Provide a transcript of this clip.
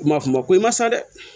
Kuma kuma ko i ma sa dɛ